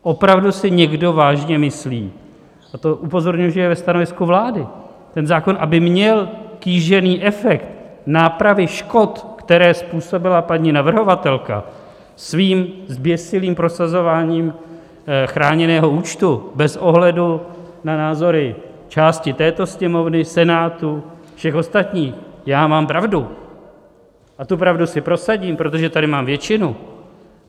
Opravdu si někdo vážně myslí - a to upozorňuji, že je ve stanovisku vlády, ten zákon, aby měl kýžený efekt nápravy škod, které způsobila paní navrhovatelka svým zběsilým prosazováním chráněného účtu bez ohledu na názory části této Sněmovny, Senátu, všech ostatních: já mám pravdu a tu pravdu si prosadím, protože tady mám většinu.